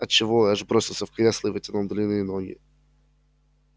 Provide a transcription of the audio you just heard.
от чего эш бросился в кресло и вытянул длинные ноги